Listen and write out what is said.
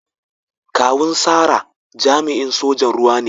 Kawun Sarah jami'in sojan ruwa ne.